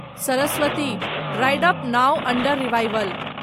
Saraswati dried up , now under revival